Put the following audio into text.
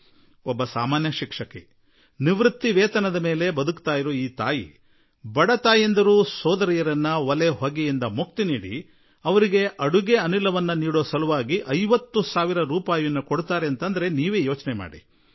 ಒಬ್ಬ ಸಾಮಾನ್ಯ ಶಿಕ್ಷಕಿ ನಿವೃತ್ತಿ ಪಿಂಚಣಿಯ ಮೇಲೆ ಬದುಕನ್ನು ಅವಲಂಬಿಸಿರುವಾಕೆ ಆ ತಾಯಿ 50 ಸಾವಿರ ರೂಪಾಯಿಗಳನ್ನು ಬಡ ತಾಯಂದಿರು ಸೋದರಿಯರು ಒಲೆಯ ಹೊಗೆಯಿಂದ ಮುಕ್ತರನ್ನಾಗಿಸಲು ಹಾಗೂ ಅವರಿಗೆ ಅನಿಲ ಸಂಪರ್ಕ ಒದಗಿಸಲು ದೇಣಿಗೆ ಕೊಡುವುದನ್ನು ನೀವು ಕಲ್ಪಿಸಿಕೊಳ್ಳಬಹುದಾಗಿದೆ